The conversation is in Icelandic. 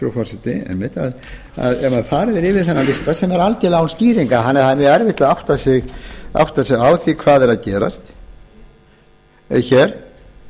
ef farið er yfir þennan lista sem er algerlega án skýringa þannig að það er mjög erfitt að átta sig á því hvað er að gerast hér